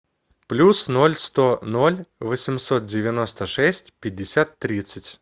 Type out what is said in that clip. плюс ноль сто ноль восемьсот девяносто шесть пятьдесят тридцать